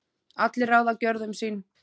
allir ráða gjörðum sín